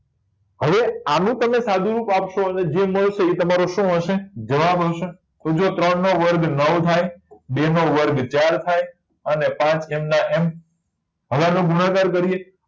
હવે આનું તમે સાદું રૂપ આપશો અને જે મળશે એ તમારું શું હશે જવાબ હશે કે જો ત્રણ નો વર્ગ નવ થાય બે નો વર્ગ ચાર થાય અને પાંચ એમના એમ હવે એનો ગુણાકાર કરીએ